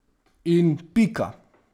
In pika!